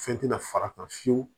Fɛn tɛna far'a kan fiyewu